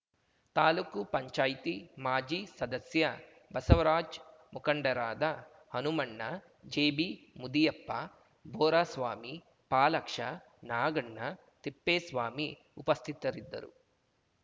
ತಾಲ್ಲುಕು ಪಂಚಾಯತಿ ಮಾಜಿ ಸದಸ್ಯ ಬಸವರಾಜ್‌ ಮುಖಂಡರಾದ ಹನುಮಣ್ಣ ಜಿಬಿಮುದಿಯಪ್ಪ ಬೋರಸ್ವಾಮಿ ಫಾಲಾಕ್ಷ ನಾಗಣ್ಣ ತಿಪ್ಪೇಸ್ವಾಮಿ ಉಪಸ್ಥಿತರಿದ್ದರು